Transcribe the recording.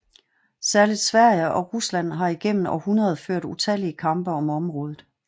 Særligt Sverige og Rusland har igennem århundreder ført utallige kampe om området